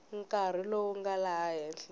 nkarhi lowu nga laha henhla